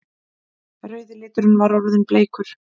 Rauði liturinn var orðinn bleikur!